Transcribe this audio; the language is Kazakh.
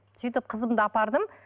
сөйтіп қызымды апардым